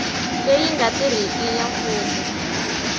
leyi nga riki ya mfumo